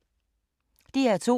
DR2